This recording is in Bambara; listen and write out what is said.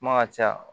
Kuma ka ca